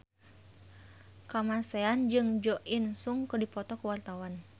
Kamasean jeung Jo In Sung keur dipoto ku wartawan